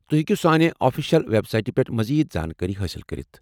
تُہۍ ہٮ۪کِو سانہِ آفشیل ویب سایٹہِ پٮ۪ٹھ مزید زانكٲری حٲصل کٔرتھ ۔